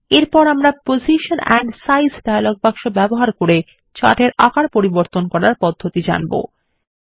এরপর আমরা position and size dialog box ব্যবহার করে চার্ট এর আকার পরিবর্তন করার পদ্ধতি জানবো